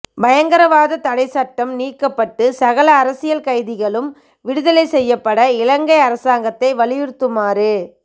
பயங்கரவாத தடைச்சட்டம் நீக்கப்பட்டு சகல அரசியல் கைதிகளும் விடுதலை செய்யப்பட இலங்கை அரசாங்கத்தை வலியுறுத்துமாறு